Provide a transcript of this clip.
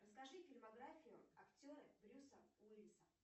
расскажи фильмографию актера брюса уиллиса